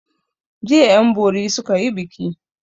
Jiya 'yanbori suka yi biki.